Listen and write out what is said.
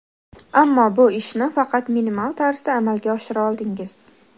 Ammo bu ishni faqat minimal tarzda amalga oshira oldingiz.